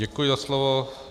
Děkuji za slovo.